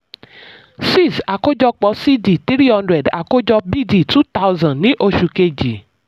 six. àkójọpọ̀ c d three hundred àkójọ b d two thousand ní oṣù kejì